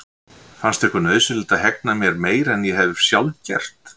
Fannst ykkur nauðsynlegt að hegna mér meira en ég hef sjálf gert?